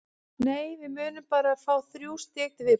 Nei, við munum bara fá þrjú stig til viðbótar.